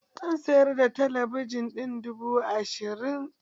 Zan sayar da talabijin ɗin duba ashirin